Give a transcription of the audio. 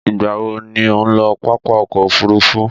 Ìgbà wo ni ò ń lọ pápá ọkọ̀-òfurufú?